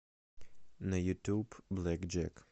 на ютуб блэк джэк